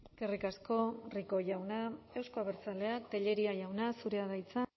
eskerrik asko rico jauna euzko abertzaleak tellería jauna zurea da hitza